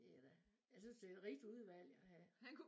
Det er da jeg synes det et rigt udvalg at have